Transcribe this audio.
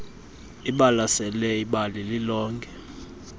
ibalasele ibali lilonke